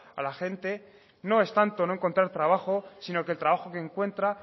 a la gente no es tanto no encontrar trabajo sino que el trabajo que encuentran